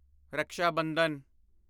Raksha Bandhan